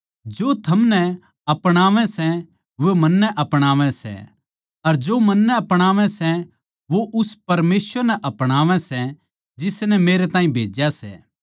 जो थमनै अपणावै सै वो मन्नै अपणावै सै अर जो मन्नै अपणावै सै वो उस परमेसवर नै अपणावै सै जिसनै मेरे ताहीं भेज्या सै